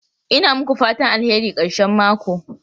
Ina muku fatan alheri karshen mako.